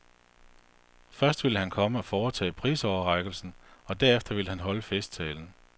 Først ville han komme og foretage prisoverrækkelsen, og derefter ville han holde festtalen.